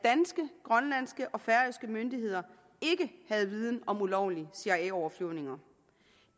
danske grønlandske og færøske myndigheder ikke viden om ulovlige cia overflyvninger